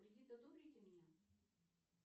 кредит одобрите мне